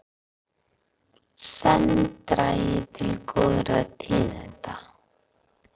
Senn dragi til góðra tíðinda